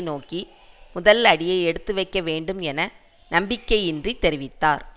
நோக்கி முதல் அடியை எடுத்துவைக்க வேண்டும் என நம்பிக்கையின்றி தெரிவித்தார்